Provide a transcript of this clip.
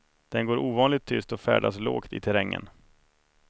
Den går ovanligt tyst och färdas lågt i terrängen.